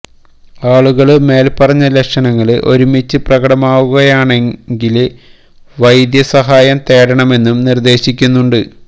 ആളുകള് മേല് പറഞ്ഞ ലക്ഷണങ്ങള് ഒരുമിച്ച് പ്രകടമാകുകയാണെങ്കില് വൈദ്യസഹായം തേടണമെന്നും നിര്ദേശിക്കുന്നുണ്ട്